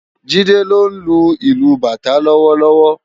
Jide ló nlú ilù bátã lòwòlòwò